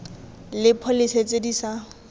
le pholese tse di sa